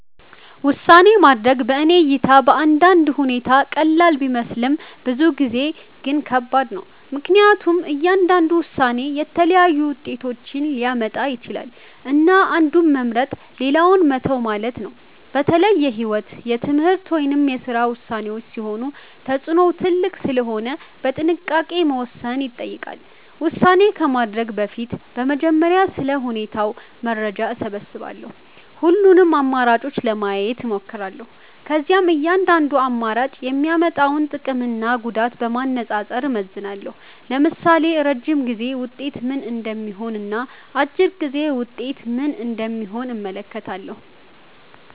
ውሳኔ ማድረግ በእኔ እይታ በአንዳንድ ሁኔታ ቀላል ቢመስልም ብዙ ጊዜ ግን ከባድ ነው። ምክንያቱም እያንዳንዱ ውሳኔ የተለያዩ ውጤቶችን ሊያመጣ ይችላል፣ እና አንዱን መምረጥ ሌላውን መተው ማለት ነው። በተለይ የህይወት፣ የትምህርት ወይም የስራ ውሳኔዎች ሲሆኑ ተጽዕኖው ትልቅ ስለሆነ በጥንቃቄ መወሰን ይጠይቃል። ውሳኔ ከማድረግ በፊት በመጀመሪያ ስለ ሁኔታው መረጃ እሰብስባለሁ። ሁሉንም አማራጮች ለማየት እሞክራለሁ። ከዚያም እያንዳንዱ አማራጭ የሚያመጣውን ጥቅምና ጉዳት በማነጻጸር እመዝናለሁ። ለምሳሌ የረጅም ጊዜ ውጤት ምን እንደሚሆን እና አጭር ጊዜ ውጤት ምን እንደሚሆን እመለከታለሁ።